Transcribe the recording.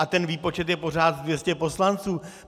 A ten výpočet je pořád 200 poslanců.